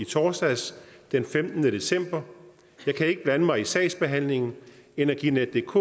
torsdags den femtende december jeg kan ikke blande mig i sagsbehandlingen energinetdk